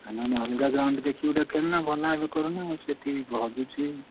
ଆଉ ନହେଲେ ଅଲଗା ଜାଗା ଗୋଟେ ଦେଖିକି ଖେଳୁନା ଭଲ ଭାବେ କରୁନା ସେଠି ହଜୁଛି।